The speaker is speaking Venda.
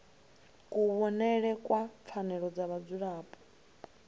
kuvhonele kwa pfanelo dza vhadzulapo